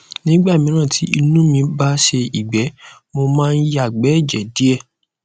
nígbà míràn tí inú mí bá sé ìgbẹ mo máa ń yàgbẹ ẹjẹ díẹ